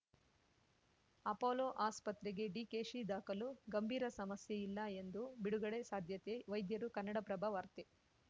Apollo ಆಸ್ಪತ್ರೆಗೆ ಡಿಕೆಶಿ ದಾಖಲು ಗಂಭೀರ ಸಮಸ್ಯೆ ಇಲ್ಲ ಎಂದು ಬಿಡುಗಡೆ ಸಾಧ್ಯತೆ ವೈದ್ಯರು ಕನ್ನಡಪ್ರಭ ವಾರ್ತೆ